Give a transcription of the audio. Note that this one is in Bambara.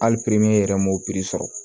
Hali yɛrɛ m'o sɔrɔ